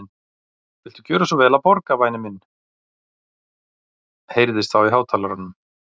Viltu gjöra svo vel að borga, væni minn heyrðist þá í hátalaranum.